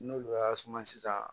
N'olu y'a suma sisan